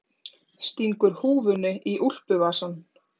Stingur húfunni í úlpuvasann.